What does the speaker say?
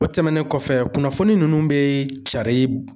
O tɛmɛnen kɔfɛ, kunnafoni ninnu bɛ cari